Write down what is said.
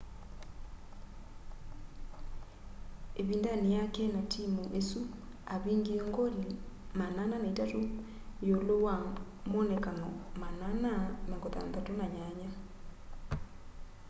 ĩvindanĩ yake na timũ ĩsu avingie ngoli 403 iulu wa moonekano 468